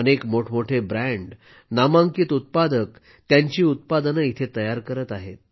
अनेक मोठमोठे ब्रँड नामांकित उत्पादक त्यांची उत्पादनं इथे तयार करत आहेत